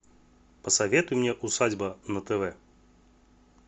посоветуй мне усадьба на тв